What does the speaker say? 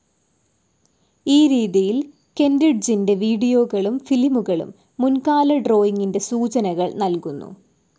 ഈ രീതിയിൽ, കെൻ്റിഡ്ജിൻ്റെ വീഡിയോകളും ഫിലിമുകളും മുൻകാല ഡ്രോയിംഗിൻ്റെ സൂചനകൾ നൽകുന്നു.